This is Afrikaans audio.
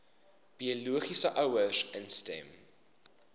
biologiese ouers instem